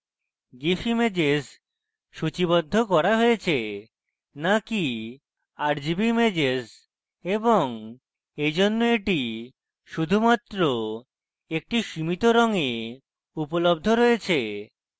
gif images সূচীবদ্ধ করা হয়েছে so কি rgb ইমেজেস এবং এইজন্য এটি শুধুমাত্র একটি সীমিত রঙে উপলব্ধ